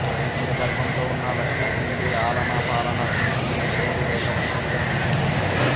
నిండు గర్భంతో ఉన్న లక్ష్మి తిండి ఆలనా పాలనా చూసుకునే తోడు లేక ఒంటరిగా మిగిలిపోతుంది